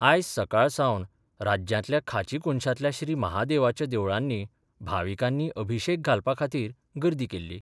आयज सकाळ सावन राज्यांतल्या खांची कोनशांतल्या श्री महादेवाच्या देवळांनी भाविकांनी अभिशेक घालपा खातीर गर्दी केल्ली.